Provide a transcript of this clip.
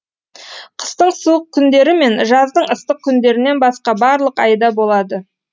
қыстың суық күндері мен жаздың ыстық күндерінен басқа барлық айда болады